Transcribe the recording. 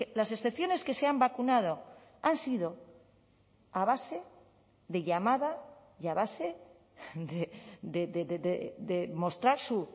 las excepciones que se han vacunado han sido a base de llamada y a base de mostrar su